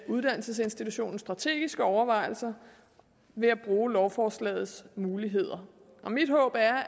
uddannelsesinstitutionens strategiske overvejelser ved at bruge lovforslagets muligheder mit håb er